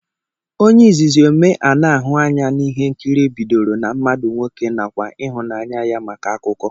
Ónyé izizi omee ana ahụ anya na ihe nkiri bịdọrọ na mmadụ nwoke nakwa ịhụnanya ya màkà akụkọ.